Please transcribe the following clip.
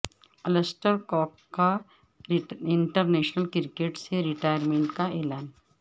Ulster Cook کا international cricket سے retirement کا اعلان